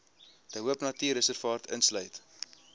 de hoopnatuurreservaat insluit